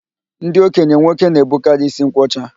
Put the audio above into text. Ndị okenye nwoke na-ebukarị ísí nkwọcha